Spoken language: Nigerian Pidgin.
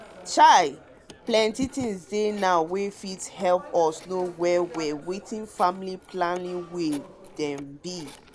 chai plenty things dey now wey fit hep us know well well wetin family planning way dem be.